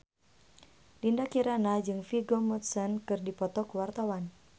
Dinda Kirana jeung Vigo Mortensen keur dipoto ku wartawan